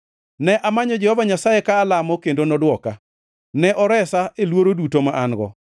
Ne amanyo Jehova Nyasaye ka alamo, kendo nodwoka; ne oresa e luoro duto ma an-go.